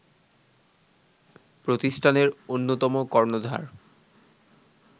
প্রতিষ্ঠানের অন্যতম কর্ণধার